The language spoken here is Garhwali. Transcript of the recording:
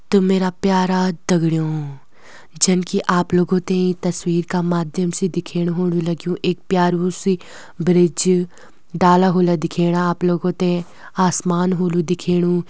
तो मेरा प्यारा दगड़ियों जन की आप लोगों त ईं तस्वीर का माध्यम से दिखेणु होणु लग्युं एक प्यारु सी ब्रिज डाला होला दिखेणा आप लोगों ते आसमान होलु दिखेणु।